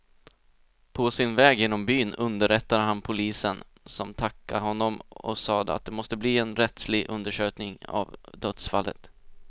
På sin väg genom byn underrättade han polisen, som tackade honom och sade att det måste bli en rättslig undersökning av dödsfallet.